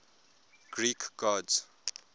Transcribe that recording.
greek gods